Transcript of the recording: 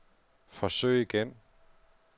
forsøg igen